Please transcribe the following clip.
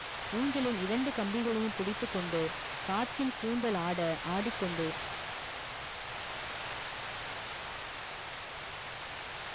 ஊஞ்சலின் இரண்டு கம்பிகளையும் பிடித்துக்கொண்டு காற்றில் கூந்தல் ஆட ஆடிக்கொண்டு